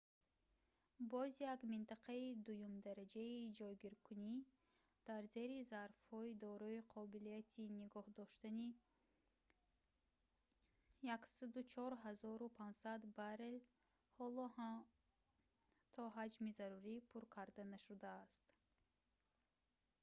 боз як минтақаи дуюмдараҷаи ҷойгиркунӣ дар зери зарфҳои дорои қобилияти нигоҳ доштани 104500 баррел ҳоло ҳам то ҳаҷми зарурӣ пур карда нашудааст